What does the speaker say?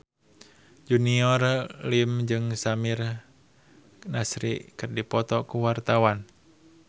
Junior Liem jeung Samir Nasri keur dipoto ku wartawan